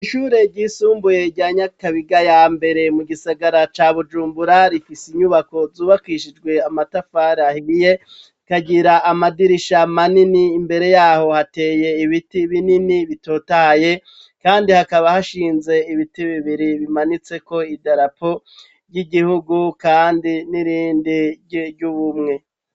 Ishure ryisumbuye rya Nyakabiga ya mbere mu gisagara ca Bujumbura rifise inyubako zubakishijwe amatafari ahiye rikagira amadirisha manini imbere yaho hateye ibiti binini bitotahaye, kandi hakaba hashinze ibiti bibiri bimanitseko idarapo ry'igihugu kandi n'irindi ry'ubumwe.